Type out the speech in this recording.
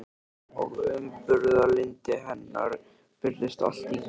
Og umburðarlyndi hennar virðist allt í kring.